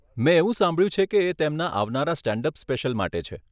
મેં એવું સાંભળ્યું છે કે એ તેમના આવનારા સ્ટેન્ડ અપ સ્પેશિયલ માટે છે.